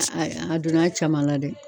A donna a caman na dɛ.